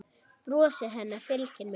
Brosið hennar fylgir mér.